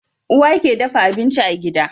Uwa ke dafa abinci a gida